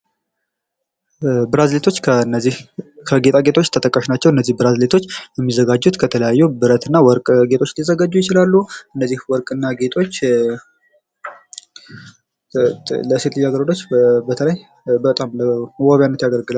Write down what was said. ብራስሌቶች ከነዚህ ከጌጣጌጦች ተጠቃሽ ናቸው ብራስሌቶች የሚዘጋጁት ከተለያዩ ብረትና ወርቅ ጌጦች ሊዘጋጁ ይችላሉ ያው ወርቅና ግጦች ለሴት ልጃገረዶች በተለይ በጣም ለመዋቢያነት ያገለግላል።